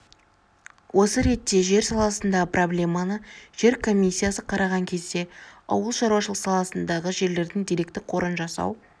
осы ретте жер саласындағы проблеманы жер комиссиясы қараған кезде ауыл шаруашылығы саласындағы жерлердің деректі қорын жасау